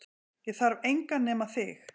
Ég þarf engan nema þig